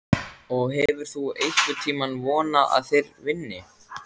Og hefur þú einhvern tímann vonað að þeir vinni?